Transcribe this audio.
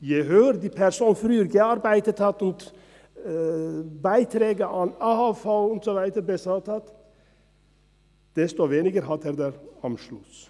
Je höhere Beiträge die Person früher an die AHV bezahlt hat, desto weniger hat sie am Schluss.